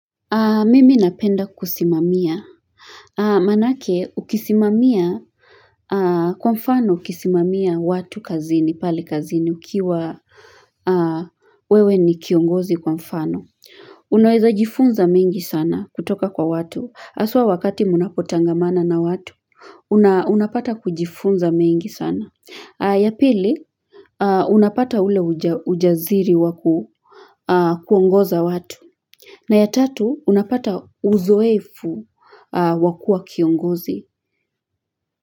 Mimi napenda kusimamia. Maanake ukisimamia kwa mfano ukisimamia watu kazini, pale kazini, ukiwa wewe ni kiongozi kwa mfano. Unaweza jifunza mengi sana kutoka kwa watu. hAswa wakati mnapotangamana na watu, unapata kujifunza mengi sana. Yapili, unapata ule ujaziri wa kuongoza watu. Na ya tatu unapata uzoefu wa kuwa kiongozi.